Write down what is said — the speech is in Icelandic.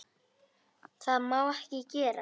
Það má ekki gerast.